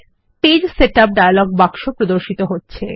পৃষ্ঠা setup dialogue বাক্সে প্রদর্শিত হচ্ছে